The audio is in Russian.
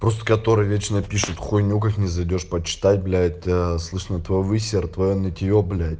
просто которые вечно пишут хуйню как ни зайдёшь почитать блять слышно твой высер твоё нытье блять